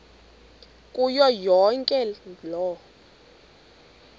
kuyo yonke loo